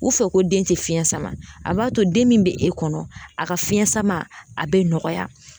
U fɛ ko den te fiɲɛ sama a b'a to den min be e kɔnɔ a ka fiɲɛ sama a be nɔgɔya